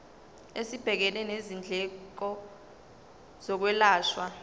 esibhekene nezindleko zokwelashwa